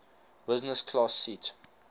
business class seat